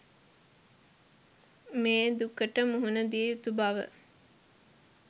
මේ දුකට මුහුණ දිය යුතු බව